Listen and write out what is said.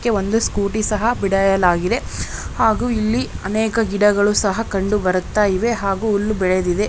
ಇಲ್ಲೊಂದು ಸ್ಕೂಟಿ ಸಹಾ ಇಡಲಾಗಿದೆ. ಹಾಗೆ ಅನೇಕ ಗಿಡಗಳು ಹಾಗೂ ಕಂಡು ಬರುತ್ತಾ ಇದೆ ಹಾಗೂ ಬೆಳೆದಿದೆ.